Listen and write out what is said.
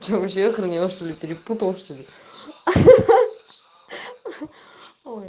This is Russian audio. что вообще охренел что-ли перепутала что-ли ха-ха